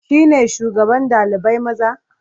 Shi ne shugaban ɗalibai maza?